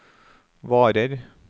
varer